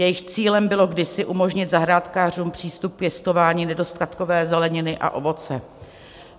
Jejich cílem bylo kdysi umožnit zahrádkářům přístup k pěstování nedostatkové zeleniny a ovoce.